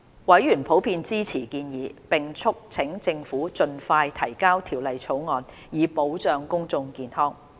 委員普遍支持建議，並促請政府盡快提交《條例草案》，以保障公眾健康。